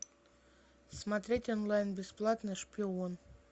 смотреть онлайн бесплатно шпион